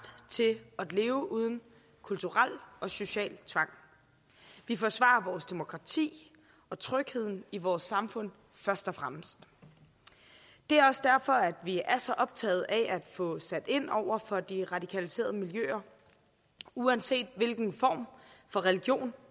til at leve uden kulturel og social tvang vi forsvarer vores demokrati og trygheden i vores samfund først og fremmest det er også derfor at vi er så optaget af at få sat ind over for de radikaliserede miljøer uanset hvilken form for religion